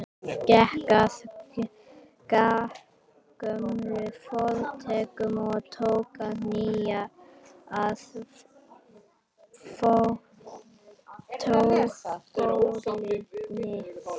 Gekk að grammófóninum og tók nálina af plötunni.